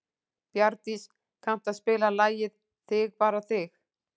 Bjarndís, kanntu að spila lagið „Þig bara þig“?